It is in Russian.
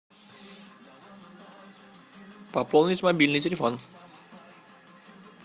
пополнить мобильный телефон